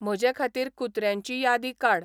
म्हजेखातीर कुत्र्यांची यादी काड